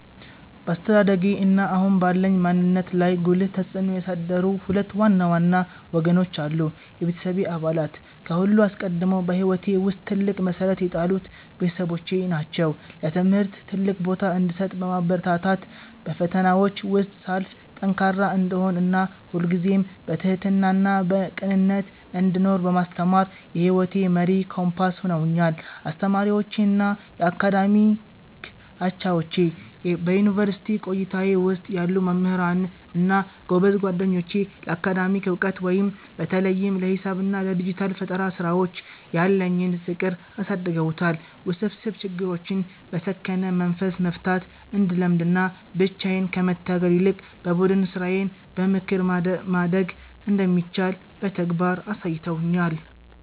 በአስተዳደጌ እና አሁን ባለኝ ማንነት ላይ ጉልህ ተጽዕኖ ያሳደሩ ሁለት ዋና ዋና ወገኖች አሉ፦ የቤተሰቤ አባላት፦ ከሁሉ አስቀድሞ በሕይወቴ ውስጥ ትልቅ መሠረት የጣሉት ቤተሰቦቼ ናቸው። ለትምህርት ትልቅ ቦታ እንድሰጥ በማበረታታት፣ በፈተናዎች ውስጥ ሳልፍ ጠንካራ እንድሆን እና ሁልጊዜም በትሕትናና በቅንነት እንድኖር በማስተማር የሕይወቴ መሪ ኮምፓስ ሆነውኛል። አስተማሪዎቼ እና የአካዳሚክ አቻዎቼ፦ በዩኒቨርሲቲ ቆይታዬ ውስጥ ያሉ መምህራን እና ጎበዝ ጓደኞቼ ለአካዳሚክ ዕውቀት (በተለይም ለሂሳብ እና ለዲጂታል ፈጠራ ሥራዎች) ያለኝን ፍቅር አሳድገውታል። ውስብስብ ችግሮችን በሰከነ መንፈስ መፍታት እንድለምድ እና ብቻዬን ከመታገል ይልቅ በቡድን ሥራና በምክር ማደግ እንደሚቻል በተግባር አሳይተውኛል።